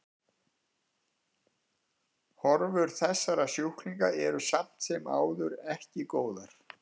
Horfur þessara sjúklinga eru samt sem áður eru ekki góðar.